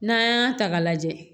N'an y'a ta k'a lajɛ